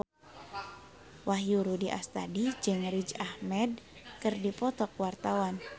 Wahyu Rudi Astadi jeung Riz Ahmed keur dipoto ku wartawan